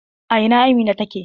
A ina Amina take?